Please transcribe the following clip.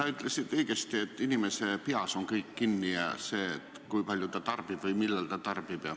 Sa ütlesid õigesti, et kõik on kinni inimese peas, ka see, kui palju ta tarbib või millal ta tarbib.